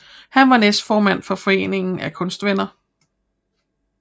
Han var næstformand for Foreningen af Kunstvenner